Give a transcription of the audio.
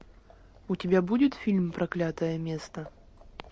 у тебя будет фильм проклятое место